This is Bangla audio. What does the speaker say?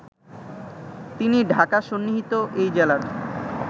তিনি ঢাকাসন্নিহিত এই জেলার